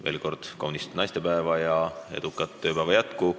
Veel kord kaunist naistepäeva ja edukat tööpäeva jätku!